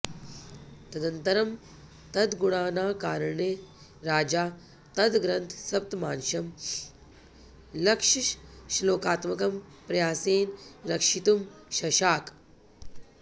तदनन्तरं तद्गुणानाकर्ण्य राजा तदग्रन्थसप्तमांशं लक्षश्लोकात्मकं प्रयासेन रक्षितुं शशाक